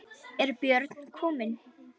Er Björn kominn?